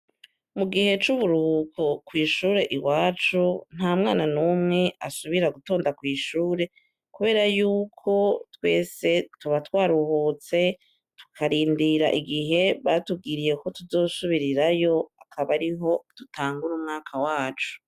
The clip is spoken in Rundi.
Mu gihe c'uburuhuko kw'ishure iwacu, nta mwana n'umwe asubira gutonda kw'ishure, kubera y'uko twese tuba twaruhutse tukarindira igihe batubwiye ko tuzosubirirayo akaba ariho dutangura umwaka wacu.